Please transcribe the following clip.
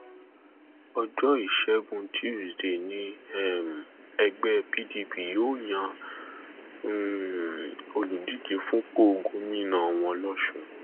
ọjọ ìṣẹgun tusidee ní um ẹgbẹ pdp yóò yan um olùdíje fúnpọ gómìnà wọn lọsùn